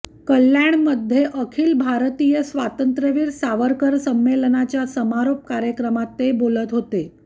कल्याणमध्ये अखिल भारतीय स्वातंत्र्यवीर सावरकर संमेलनाच्या समारोप कार्यक्रमात ते बोलत होते